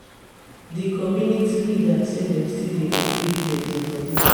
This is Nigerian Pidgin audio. di community leader say dem still dey retrieve deadi bodi